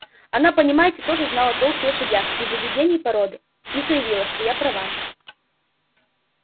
она понимаете тоже знала толк в лошадях и в выведении породы и заявила что я права